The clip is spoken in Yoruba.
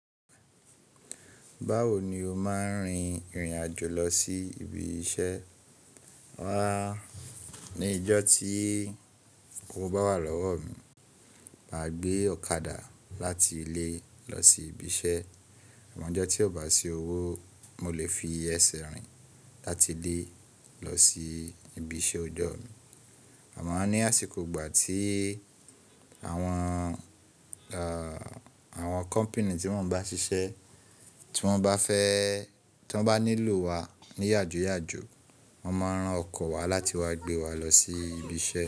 Báwo ni o máa ń rin ìrìn àjò lọ sí ibi iṣẹ́? Wá, ní ọjọ́ tí owó bá wà lọ́wọ́ mi, màá gbé ọ̀kadà láti ilé lọ sí ibi iṣẹ́. Àmọ́ ọjọ́ tí ò bá sí owó, mo lè fi ẹsẹ̀ rìn láti ilé lọ sí ibi iṣẹ́ ọjọ́ mi. Àmá ní àsìkò ìgbà tí àwọn, àwọn kọ́pìnì tí mọ́ bá ṣiṣẹ́, tí wọ́n bá fẹ́, tí wọ́n bá nílò wa ní yajoyajo, wọ́n máa ran ọkọ̀ wá láti wá gbé wa lọ sí ibi iṣẹ́